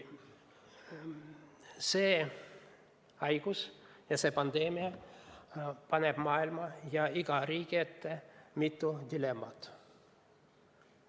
See haigus ja see pandeemia paneb maailma ja iga riigi ette mitu dilemmat.